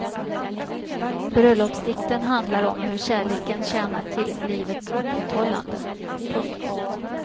Bröllopsdikten handlar om hur kärleken tjänar till livets upprätthållande. punkt